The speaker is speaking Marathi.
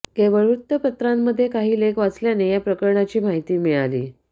केवळ वृत्तपत्रामध्ये काही लेख वाचल्याने या प्रकरणाची माहिती मिळाली